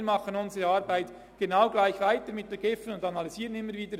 Wir machen unsere Arbeit genau gleich weiter, wir analysieren immer wieder.